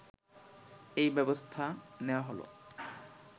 এই ব্যবস্থা নেওয়া হল